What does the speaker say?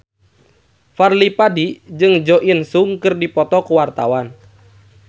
Fadly Padi jeung Jo In Sung keur dipoto ku wartawan